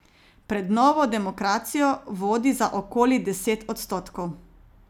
Pred Novo demokracijo vodi za okoli deset odstotkov.